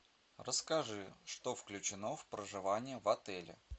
расскажи что включено в проживание в отеле